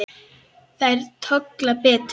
Þær tolla betur.